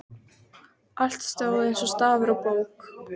Allt stóð eins og stafur á bók.